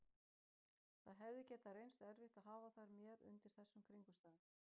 Það hefði getað reynst erfitt að hafa þær með undir þessum kringumstæðum.